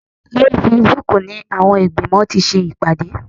Lórí Facebook ni àwọn ìgbìmọ̀ ti ṣe ìpàdé